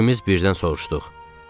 İkimiz birdən soruşduq.